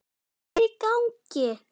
Hvað er í gangi!